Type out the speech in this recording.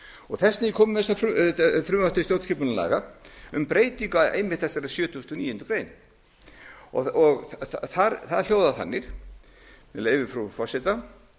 þess vegna er ég kominn með þetta frumvarp til stjórnskipunarlaga um breytingu einmitt á þessari sjötugasta og níundu grein það hljóðar þannig með leyfi frú forseta